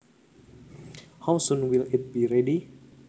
How soon will it be ready